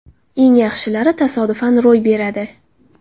Eng yaxshilari tasodifan ro‘y beradi.